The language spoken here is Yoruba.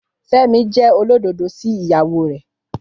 Fẹ́mi jẹ́ olódodo sí ìyàwó rẹ̀